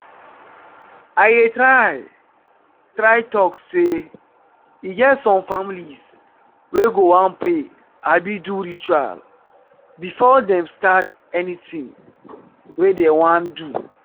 i dey try try talk sey e get some families wey go wan pray abi do itual before dem stat anything wey dem wan do